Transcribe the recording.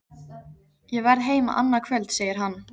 Ég verð heima annað kvöld, segir hann.